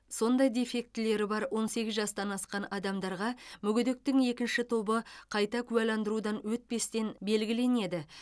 сондай дефектілері бар он сегіз жастан асқан адамдарға мүгедектіктің екінші тобы қайта куәландырудан өтпестен белгіленеді